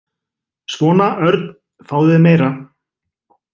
Svona, Örn, fáðu þér meira.